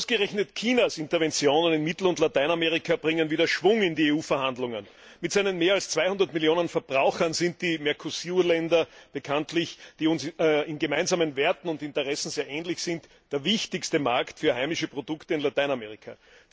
Ausgerechnet Chinas Interventionen in Mittel und Lateinamerika bringen wieder Schwung in die EU Verhandlungen. Mit seinen mehr als 200 Millionen Verbrauchern sind die Mercosur Länder, die uns bekanntlich in gemeinsamen Werten und Interessen sehr ähnlich sind, der wichtigste Markt für heimische Produkte in Lateinamerika.